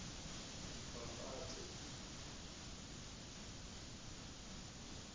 mapate